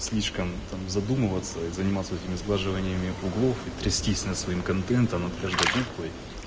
слишком там задумываться и заниматься этими сглаживаниями углов и трястись над своим контентом над каждой буквой